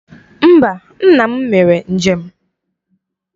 Mba, nna m mere njem.